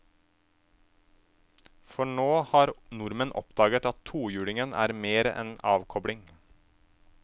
For nå har nordmenn oppdaget at tohjulingen er mer enn avkobling.